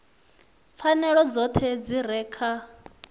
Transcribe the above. pfanelo dzoṱhe dzi re kha